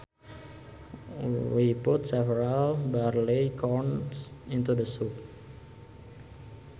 We put several barley corns into the soup